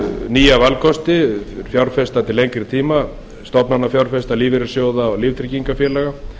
nýja valkosti fjárfesta til lengri tíma stofnanafjárfesta lífeyrissjóða og líftryggingafélaga